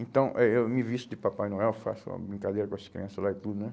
Então, eh eu me visto de Papai Noel, faço uma brincadeira com as crianças lá e tudo, né?